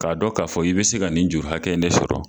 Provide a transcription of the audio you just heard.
K'a dɔn k'a fɔ i bi se ka nin juru hakɛ in de sɔrɔ